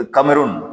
O kamerow